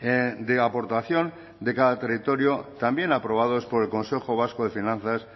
de aportación de cada territorio también aprobados por el consejo vasco de finanzas